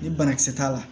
Ni banakisɛ t'a la